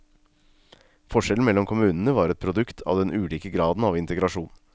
Forskjellen mellom kommunene var et produkt av den ulike graden av integrasjon.